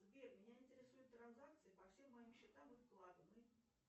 сбер меня интересуют транзакции по всем моим счетам и вкладам